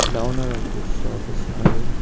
The owner of the shop is Arun.